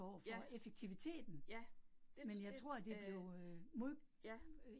Ja, ja, det det øh ja